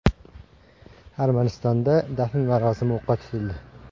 Armanistonda dafn marosimi o‘qqa tutildi.